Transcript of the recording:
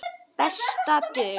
Besta dul